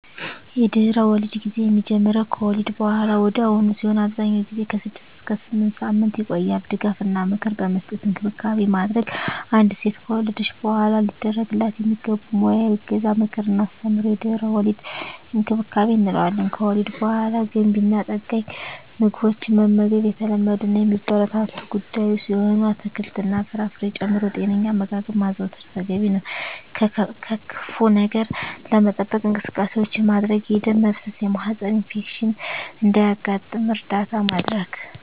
የድህረ-ወሊድ ጊዜ የሚጀምረው ከወሊድ በሃላ ወዲያውኑ ሲሆን አብዛኛውን ጊዜ ከ6 እስከ 8 ሳምንታት ይቆያል ድጋፍ እና ምክር በመስጠት እንክብካቤ ማድረግ። አንዲት ሴት ከወለደች በሃላ ሊደረግላት የሚገቡ ሙያዊ እገዛ ምክር እና አስተምሮ የድህረ-ወሊድ እንክብካቤ እንለዋለን። ከወሊድ በሃላ ገንቢ እና ጠጋኝ ምግቦችን መመገብ የተለመዱ እና የሚበረታቱ ጉዳይ ሲሆን አትክልት እና ፍራፍሬ ጨምሮ ጤነኛ አመጋገብ ማዘውተር ተገቢ ነው። ከክፋ ነገር ለመጠበቅ እንቅስቃሴዎች ማድረግ የደም መፍሰስ የማህፀን ኢንፌክሽን እንዳያጋጥም እርዳታ ማድረግ።